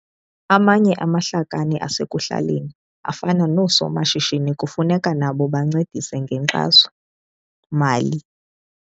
Amanye amahlakani asekuhlaleni afana noosomashishini kufuneka nabo bancedise ngenkxaso-mali.